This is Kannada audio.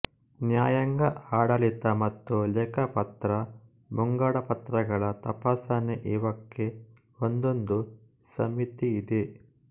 ನ್ಯಾಯಾಂಗ ಆಡಳಿತ ಮತ್ತು ಲೆಕ್ಕಪತ್ರ ಮುಂಗಡಪತ್ರಗಳ ತಪಾಸಣೆಇವಕ್ಕೆ ಒಂದೊಂದು ಸಮಿತಿಯಿದೆ